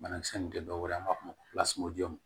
Banakisɛ ninnu tɛ dɔwɛrɛ ye an b'a fɔ